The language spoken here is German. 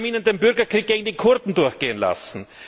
Wir haben ihr den Bürgerkrieg gegen die Kurden durchgehen lassen.